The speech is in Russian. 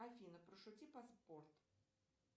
афина пошути про спорт